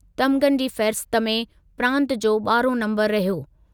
तमिग़नि जी फ़हरिस्त में प्रांतु जो ॿारहों नंबरु रहियो।